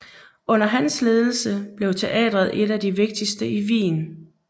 Under hans ledelse blev teatret et af de vigtigste i Wien